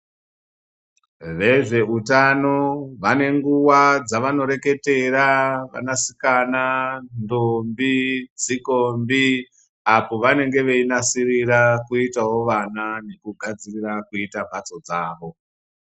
Vezveutano vanenguva dzevanoreketera vanasikana, ndombi, tsikombi, apo vanenge veinasirirawo kuita vana nekugadzirira kuita mhatso dzavo.